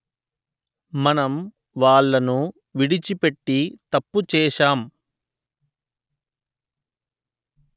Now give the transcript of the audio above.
మనం వాళ్ళను విడిచి పెట్టి తప్పు చేసాం